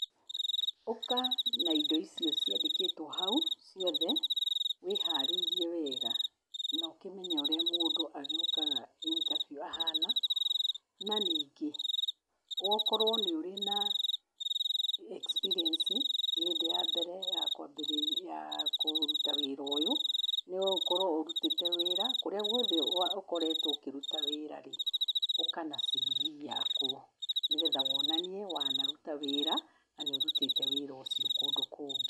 Ũka na indo icio ciandĩkĩtwo hau ciothe, wĩharĩirie wega, no ũkĩmenye ũrĩa mũndũ agĩũkakaga initabiũ ahana. Na ningĩ, wokorwo nĩũrĩ na experience i ti hĩndĩ ya mbere ya kwambĩrĩria ya kũruta wĩra ũyũ, no ũkorwo ũrutĩte wĩra kũrĩa guothe ũkoretwo ũkĩruta wĩra-rĩ, ũka na civi yakuo nĩgetha wonanie wanaruta wĩra na nĩũrutĩte wĩra ũcio kũndũ kũngĩ.